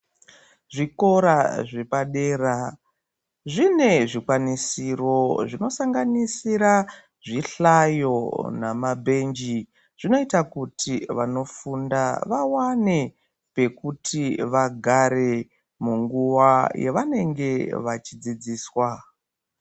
Zvikora zvepadera zvine zvikwanisiro zvinosanganisira zvihlayo namabhenji zvinoita kuti vanofunda vawane pekuti vagare munguva yavanenge vachidzidziswa.